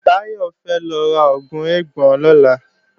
Báyọ̀ fẹ́ lọ ra oògùn eégbọn lọ́la